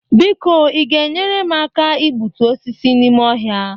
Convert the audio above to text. biko Ị ga-enyere m aka igbutu osisi n'ime ọhịa?